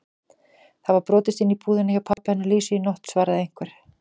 Það var brotist inn í búðina hjá pabba hennar Lísu í nótt svaraði einhver.